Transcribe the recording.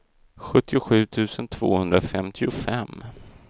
sjuttiosju tusen tvåhundrafemtiofem